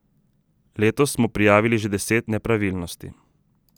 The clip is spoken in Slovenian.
Letos smo prijavili že deset nepravilnosti.